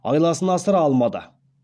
айласын асыра алмады